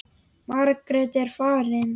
Margrét er farin.